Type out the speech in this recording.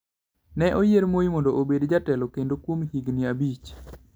Ne oyier Moi mondo obed jatelo kendo kuom higni abich.